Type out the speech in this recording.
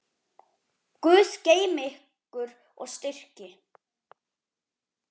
Guð geymi ykkur og styrki.